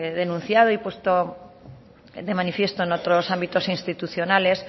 denunciado y puesto de manifiesto en otros ámbitos institucionales